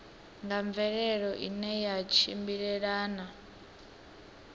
nga mvelelo ine ya tshimbilelana